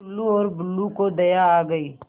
टुल्लु और बुल्लु को दया आ गई